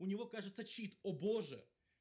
у него кажется чит о боже